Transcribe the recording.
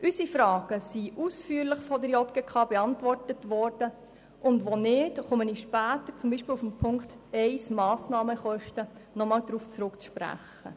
Unsere Fragen wurden von der JGK mehrheitlich ausführlich beantwortet, und ich erwähne später, wo das nicht der Fall war, beispielsweise bei den Massnahmenkosten.